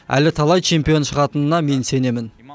әлі талай чемпион шығатынына мен сенемін